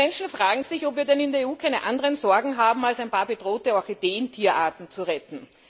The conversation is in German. Die Menschen fragen sich, ob wir denn in der EU keine anderen Sorgen haben, als ein paar bedrohte Orchideen oder Tierarten zu retten.